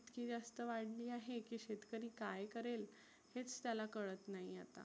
इतकी जास्त वाढली आहे. की शेतकरी काय करेल? हेच त्याला कळत नाहिए.